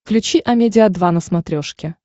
включи амедиа два на смотрешке